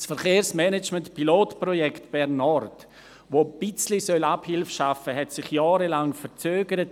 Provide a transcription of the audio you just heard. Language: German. Das Verkehrsmanagement-Pilotprojekt Bern Nord, das ein bisschen Abhilfe schaffen sollte, hat sich jahrelang verzögert.